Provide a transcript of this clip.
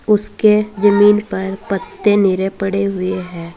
उसके जमीन पर पत्ते नीरे पड़े हुए हैं।